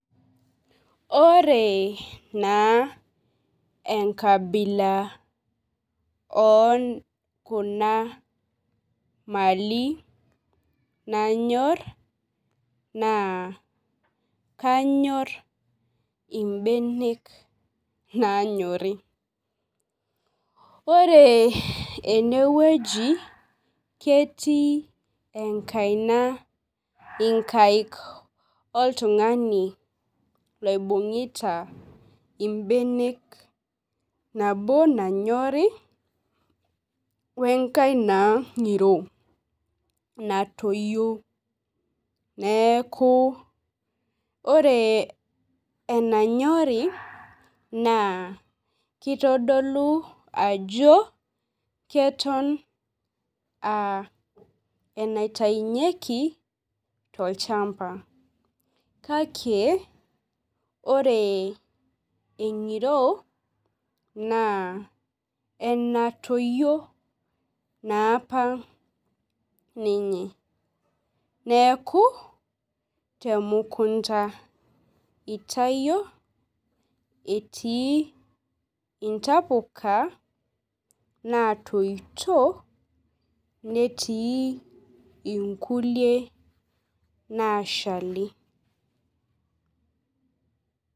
Ore na enkabila okuna mali nanyor na kanyor imbenek nanyori ore enewueji ketii inkaik oltungani oibungita mbenek nabo nanyori wenkae ngiro natoyio neaku ore enanyori na kitodolu ajo keton aa enaitaunyeki tolchamba kake ore engiro naenatoyio naapa ninye neaku temukunda itayio etii ntapuka natoito netiu inkulie nashali.